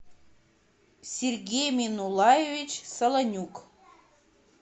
сергей минулаевич солонюк